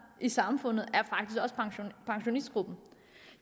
i samfundet er pensionistgruppen